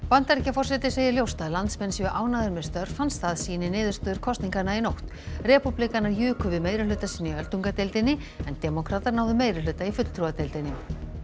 Bandaríkjaforseti segir ljóst að landsmenn séu ánægðir með störf hans það sýni niðurstöður kosninganna í nótt repúblikanar juku við meirihluta sinn í öldungadeildinni en demókratar náðu meirihluta í fulltrúadeildinni